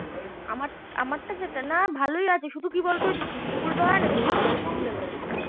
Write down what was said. আমার আমারটা যেটা না ভালো লাগে শুধু কি বল তো ঝুমকো গুলো হয় না একটু খুলে খুলে গেছে